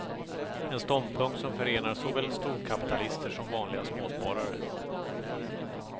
En ståndpunkt som förenar såväl storkapitalister som vanliga småsparare.